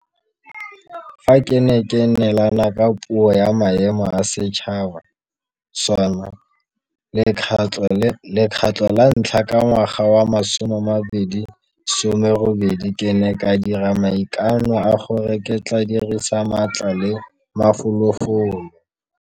Fa ke ne ke neelana ka Puo ya Maemo a Setšhaba SoNA lekgetlo la ntlha ka ngwaga wa 2018 ke ne ka dira maikano a gore ke tla dirisa maatla le mafolofolo